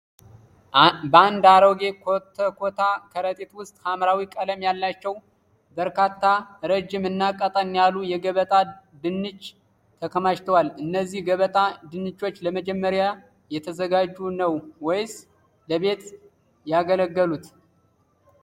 በአንድ አሮጌ ኮተኮታ ከረጢት ውስጥ ሐምራዊ ቀለም ያላቸው በርካታ ረጅም እና ቀጠን ያሉ የገበጣ ድንች ተከማችተዋል? እነዚህ ገበጣ ድንቾች ለመሸጥ እየተዘጋጁ ነው ወይስ ለቤት አገልግሎት?